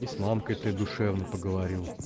с мамкой ты душевно поговорил